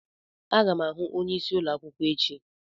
Aga m ahụ onyeisi ụlọ akwụkwọ echi.